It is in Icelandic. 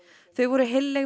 þau voru heilleg